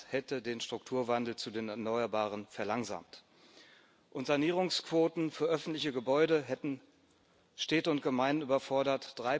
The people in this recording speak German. Das hätte den Strukturwandel zu den Erneuerbaren verlangsamt, und Sanierungsquoten für öffentliche Gebäude hätten Städte und Gemeinden überfordert.